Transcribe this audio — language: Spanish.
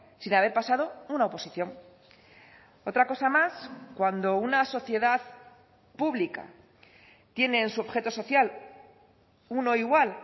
sin haber pasado una oposición otra cosa más cuando una sociedad pública tiene en su objeto social uno igual